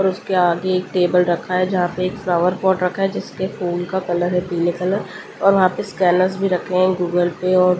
और उसके आगे एक टेबल रखा है जहाँ पे एक फ्लावर पॉट रखा है जिसके फूल का कलर है पीले कलर और वहां पे स्कैनरस भी रखें हैं गूगल पे और --